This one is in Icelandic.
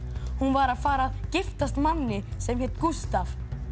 hún var að fara að giftast manni sem hét Gústaf